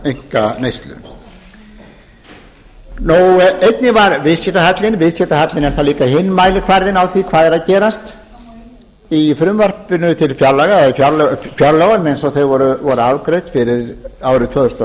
einkaneyslu viðskiptahalla er að líka hinn mælikvarðinn á því hvað er að gerast í frumvarpinu til fjárlaga eins og þau voru afgreidd fyrir árið tvö þúsund og